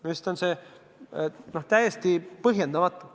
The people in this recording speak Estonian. Minu arust on see täiesti põhjendamatu.